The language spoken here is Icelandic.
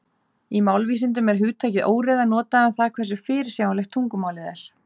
Í málvísindum er hugtakið óreiða notað um það hversu fyrirsjáanlegt tungumálið er.